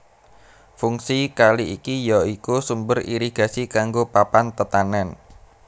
Fungsi kali iki ya iku sumber irigasi kanggo papan tetanèn